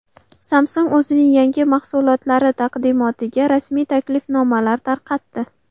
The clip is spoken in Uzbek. Samsung o‘zining yangi mahsulotlari taqdimotiga rasmiy taklifnomalar tarqatdi.